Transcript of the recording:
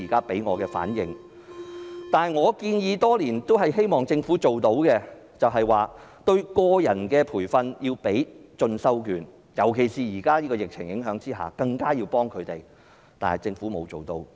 另外，我已向政府建議多年，加強對個人的培訓，提供進修券，尤其是在現時的疫情影響下，更應向他們提供協助，但政府卻未有落實。